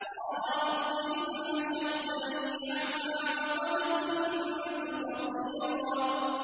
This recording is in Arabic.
قَالَ رَبِّ لِمَ حَشَرْتَنِي أَعْمَىٰ وَقَدْ كُنتُ بَصِيرًا